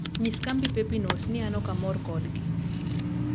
nyis kambi pepinos ni an ok amor kodgi